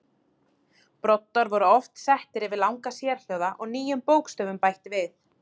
Broddar voru oft settir yfir langa sérhljóða og nýjum bókstöfum bætt við.